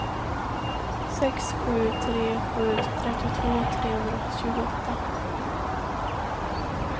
sex sju tre sju trettiotvå trehundratjugoåtta